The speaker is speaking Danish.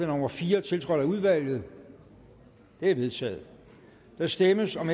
nummer fire tiltrådt af udvalget det er vedtaget der stemmes om